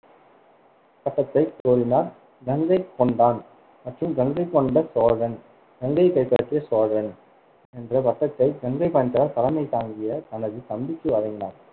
பட்டத்தை கோரினார், மேலும் கங்கை கொண்டான் மற்றும் கங்கைகொண்ட சோழன், கங்கையை கைப்பற்றிய சோழன் என்ற பட்டத்தை கங்கை தலைமை தாங்கிய தனது தம்பிக்கு வழங்கினார்.